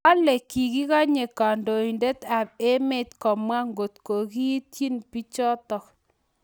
Kale kikenyi kandoindet ab emet komwa ngot kekeetii bichotok